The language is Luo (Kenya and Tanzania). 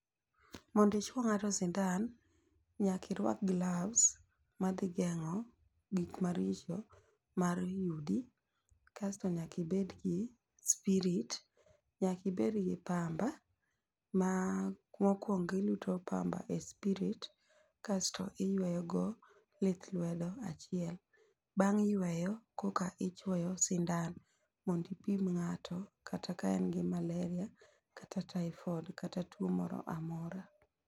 Mondi chuo ng'ato sindan nyaki rwak glavs madhi geng'o gik maricho mar yudi kasto nyaki bed gi spirit, nyaki bed gi pamba ma mokwongo iluot pamba e spirit kasto iyweyo go lith lwedo achiel. Bang' yweyo koki chuoyo sindan mondi ipim ng'ato kata ka en malaria kata typhoid kata tuo moramora.